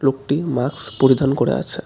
লোকটি মাস্ক পরিধান করে আছে।